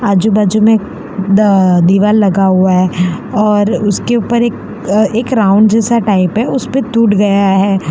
आजू बाजू में एक द दीवार लगा हुआ है और उसके ऊपर एक एक राउंड जैसा टाइप है उस पे टूट गया है।